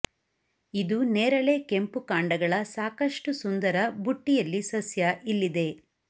ಇದು ನೇರಳೆ ಕೆಂಪು ಕಾಂಡಗಳ ಸಾಕಷ್ಟು ಸುಂದರ ಬುಟ್ಟಿಯಲ್ಲಿ ಸಸ್ಯ ಇಲ್ಲಿದೆ